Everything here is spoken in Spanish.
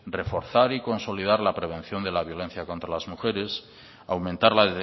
reforzar y consolidar la prevención de la violencia contra las mujeres aumentar la